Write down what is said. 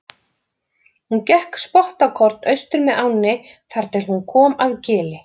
Hún gekk spottakorn austur með ánni þar til hún kom að gili.